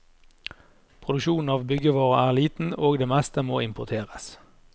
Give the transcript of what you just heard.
Produksjonen av byggevarer er liten, og det meste må importeres.